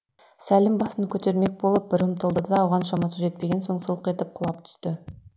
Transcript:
сәлім басын көтермек болып бір ұмтылды да оған шамасы жетпеген соң сылқ етіп құлап түсті